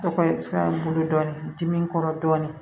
Tɔgɔ ye fɛn bolo dɔɔnin dim kɔrɔ dɔɔnin